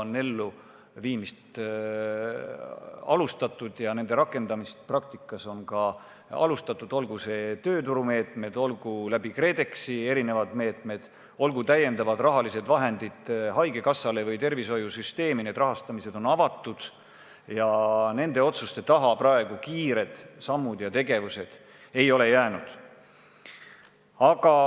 Nende elluviimist on alustatud, nende rakendamine praktikas on alanud, olgu need tööturumeetmed, olgu KredExi erinevad meetmed, olgu täiendavad rahalised vahendid haigekassale või mujale tervishoiusüsteemi – need rahastamised on avatud ja nende otsuste taha praegu kiired sammud ei ole jäänud.